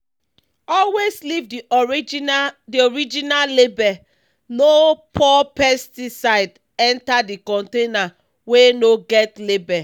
always leave the original the original label—no pour pesticide enter container wey no get label.